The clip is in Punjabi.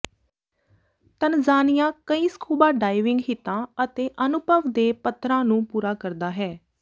ਤਨਜ਼ਾਨੀਆ ਕਈ ਸਕੂਬਾ ਡਾਈਵਿੰਗ ਹਿੱਤਾਂ ਅਤੇ ਅਨੁਭਵ ਦੇ ਪੱਧਰਾਂ ਨੂੰ ਪੂਰਾ ਕਰਦਾ ਹੈ